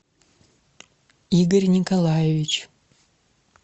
игорь николаевич